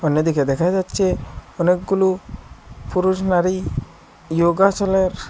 দেখা যাচ্ছে অনেকগুলো পুরুষ নারী ইয়োগাশালার--